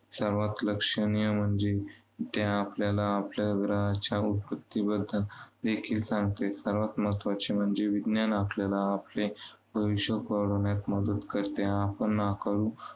सर्वांत लक्षणीय म्हणजे, ते आपल्याला आपल्या उत्पत्तीबद्दलदेखील सांगते. सर्वांत महत्त्वाचे म्हणजे विज्ञान आपल्याला आपले भविष्य घडवण्यात मदत करते आणि आपण नाकारू